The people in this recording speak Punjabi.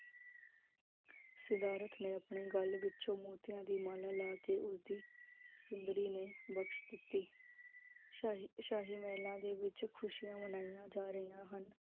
ਸਿਦਾਰਥ ਨੇ ਆਪਣੇ ਗਲ ਵਿਚ ਮੋਤੀਆਂ ਦੀ ਮਾਲਾ ਲਾ ਕੇ ਉਸ ਦੀ ਸੁੰਦਰੀ ਨੇ ਬਕਸ਼ ਦਿੱਤੀ ਸ਼ਾਹੀ ਸ਼ਾਹੀ ਮਹਿਲਾ ਦੇ ਵਿਚ ਖੁਸ਼ੀਆਂ ਮਨਾਈਆਂ ਜਾ ਰਹਿਆ ਹਨ